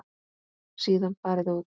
Síðan farið út.